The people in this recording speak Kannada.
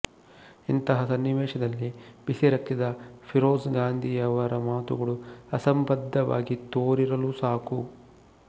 ಇಂತಹ ಸನ್ನಿವೇಶದಲ್ಲಿ ಬಿಸಿರಕ್ತದ ಫಿರೋಝ್ ಗಾಂಧಿಯವರ ಮಾತುಗಳು ಅಸಂಬದ್ಧವಾಗಿ ತೋರಿರಲೂ ಸಾಕು